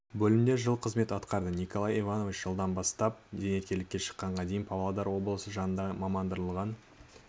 бөлімде жыл қызмет атқарды николай иванович жылдан бастап зейнеткерлікке шыққанға дейін павлодар облысы жанындағы мамандандырылған